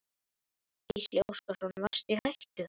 Gísli Óskarsson: Varstu í hættu?